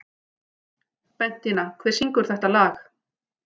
Bentína, hver syngur þetta lag?